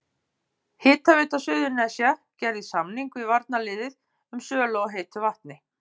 Hitaveita Suðurnesja gerði samning við varnarliðið um sölu á heitu vatni.